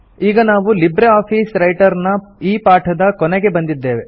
ಈಗ ನಾವು LibreOffice Writer ನ ಈ ಪಾಠದ ಕೊನೆಗೆ ಬಂದಿದ್ದೇವೆ